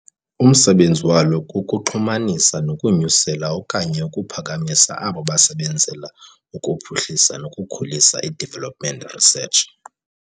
Umsebenzi walo kukuxhumanisa nokunyusela okanye ukuphakamisa abo basebenzela ukuphuhlisa nokukhulisa i-development research.